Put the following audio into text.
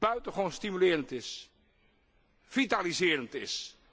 buitengewoon stimulerend is, vitaliserend is.